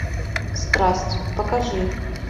страсть покажи